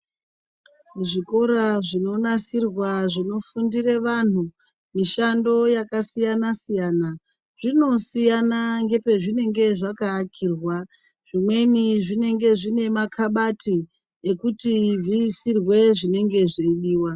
Muzvikora zvinonasirwa zvinofundira vanhu mishando yakasiyana siyana zvinosiyana ngepezvinenge zvakaakirwa zvimweni zvinenge zviine makabati ekuti zviisirwe zvinenge zveidiwa .